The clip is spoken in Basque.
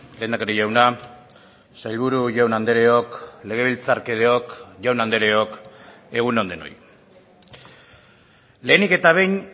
lehendakari jauna sailburu jaun andreok legebiltzarkideok jaun andreok egun on denoi lehenik eta behin